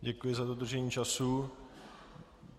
Děkuji za dodržení času.